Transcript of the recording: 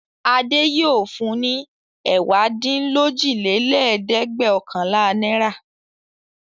Adé yóò fun ní ẹ̀wádínlójìlẹ́ẹ̀dẹ́gbẹ̀ọ̀kànlá náírà!